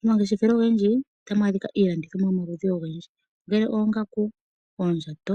Momangeshefelo ogendji otamu adhika iilandithomwa yomaludhi ogendji. Ongele oongaku, oondjato,